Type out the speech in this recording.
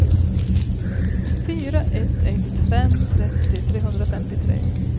fyra ett ett fem trettio trehundrafemtiotre